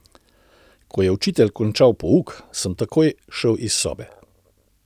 Ko je učitelj končal pouk, sem takoj šel iz sobe.